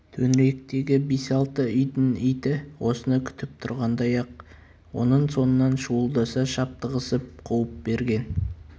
төңіректегі бес-алты үйдің иті осыны күтіп тұрғандай-ақ оның соңынан шуылдаса шаптығысып қуып берген